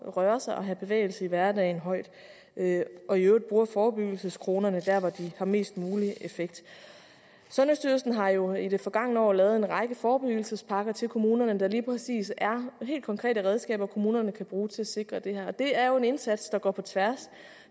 røre sig og have bevægelse i hverdagen højt og i øvrigt bruger forebyggelseskronerne der hvor de har mest mulig effekt sundhedsstyrelsen har jo i det forgangne år lavet en række forebyggelsespakker til kommunerne der lige præcis er helt konkrete redskaber kommunerne kan bruge til at sikre det her det er jo en indsats der går på tværs